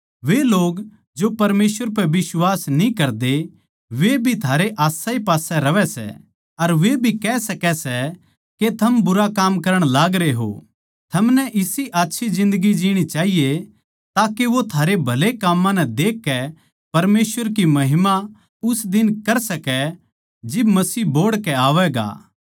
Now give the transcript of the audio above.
वे लोग जो परमेसवर पै बिश्वास न्ही करदे वे भी थारे आसपास ए रहवै सै अर वे भी कह सकै सै के थम बुरा काम करण लागरे हो थमनै इसी अच्छी जिन्दगी जीणी चाहिए ताके वो थारे भले काम्मां नै देखकै परमेसवर की महिमा उस दिन कर सकै जिब मसीह बोहड़ के आवैगा